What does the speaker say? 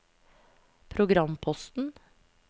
programposten